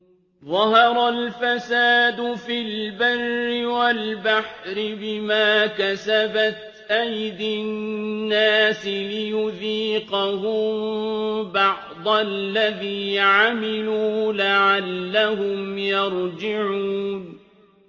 ظَهَرَ الْفَسَادُ فِي الْبَرِّ وَالْبَحْرِ بِمَا كَسَبَتْ أَيْدِي النَّاسِ لِيُذِيقَهُم بَعْضَ الَّذِي عَمِلُوا لَعَلَّهُمْ يَرْجِعُونَ